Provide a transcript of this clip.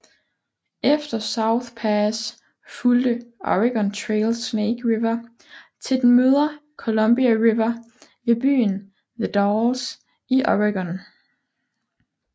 Efter South Pass fulgte Oregon Trail Snake River til den møder Columbia River ved byen The Dalles i Oregon